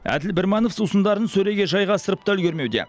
әділ бірманов сусындарын сөреге жайғастырып та үлгермеуде